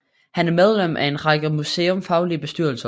Han er medlem af en række museumsfaglige bestyrelser